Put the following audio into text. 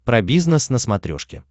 про бизнес на смотрешке